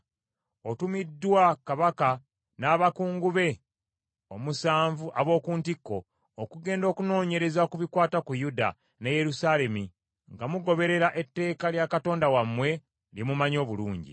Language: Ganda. Otumiddwa kabaka n’abakungu be omusanvu ab’oku ntikko okugenda okunoonyereza ku bikwata ku Yuda ne Yerusaalemi nga mugoberera etteeka lya Katonda wammwe, lye mumanyi obulungi.